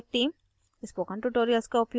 spoken tutorial project team